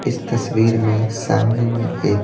इस तस्वीर में सामने में एक --